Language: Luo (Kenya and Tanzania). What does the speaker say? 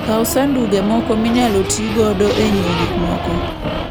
Kaw sanduge moko minyalo ti godo e ng'iewo gik moko.